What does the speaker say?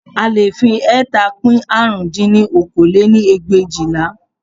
A leè fi ẹẹ́ta pín árún dín ní okòó lé-ní ẹgbẹ̀éjìlá